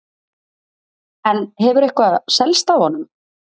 En hefur eitthvað selst af honum?